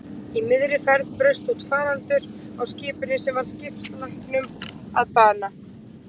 Í miðri ferð braust út faraldur á skipinu sem varð skipslækninum að bana.